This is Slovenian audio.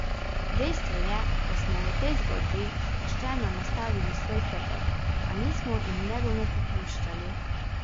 Dejstvo je, da smo v tej zgodbi pošteno nastavili svoj hrbet, a nismo in ne bomo popuščali.